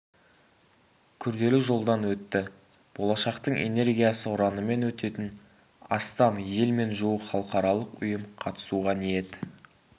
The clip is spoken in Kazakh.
күрделі жолдан өтті болашақтың энергиясы ұранымен өтетін астам ел мен жуық халықаралық ұйым қатысуға ниет